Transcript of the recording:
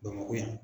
Bamakɔ yan